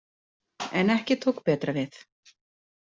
En ekki tók betra við.